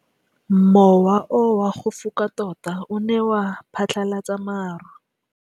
Mowa o wa go foka tota o ne wa phatlalatsa maru.